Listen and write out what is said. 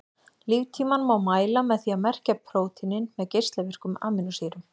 Líftímann má mæla með því að merkja prótínin með geislavirkum amínósýrum.